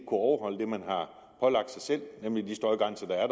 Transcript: overholde det man har pålagt sig selv nemlig de støjgrænser der er